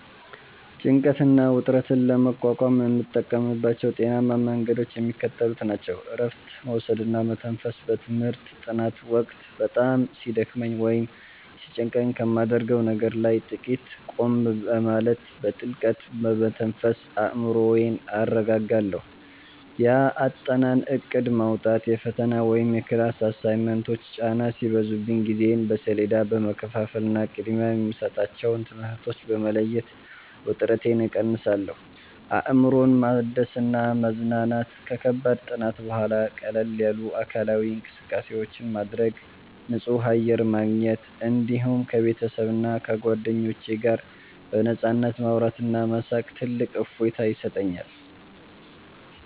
ጭንቀትና ውጥረትን ለመቋቋም የምጠቀምባቸው ጤናማ መንገዶች የሚከተሉት ናቸው፦ እረፍት መውሰድና መተንፈስ፦ በትምህርት ጥናት ወቅት በጣም ሲደክመኝ ወይም ሲጨንቀኝ ከማደርገው ነገር ላይ ጥቂት ቆም በማለት፣ በጥልቀት በመተንፈስ አእምሮዬን አረጋጋለሁ። የአጠናን እቅድ ማውጣት፦ የፈተና ወይም የክላስ አሳይመንቶች ጫና ሲበዙብኝ ጊዜዬን በሰሌዳ በመከፋፈልና ቅድሚያ የሚሰጣቸውን ትምህርቶች በመለየት ውጥረቴን እቀንሳለሁ። አእምሮን ማደስና መዝናናት፦ ከከባድ ጥናት በኋላ ቀለል ያሉ አካላዊ እንቅስቃሴዎችን ማድረግ፣ ንጹህ አየር ማግኘት፣ እንዲሁም ከቤተሰብና ከጓደኞች ጋር በነፃነት ማውራትና መሳቅ ትልቅ እፎይታ ይሰጠኛል።